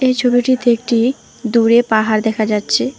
এই ছবিটিতে একটি দূরে পাহাড় দেখা যাচ্ছে।